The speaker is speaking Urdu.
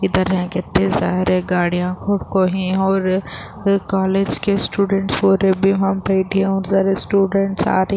ادھر یہا کتنے سارے گاڑیا ہے اور کالج کے سٹوڈنٹ اور بھی وہا بیٹھے ہے اور سارے سٹوڈنٹ آ رہی --